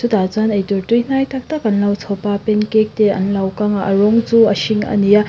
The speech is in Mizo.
chutah chuan eitur tui hnai tak tak an lo chhawpa pancake te an lo kanga a rawng chu a hring a ni a.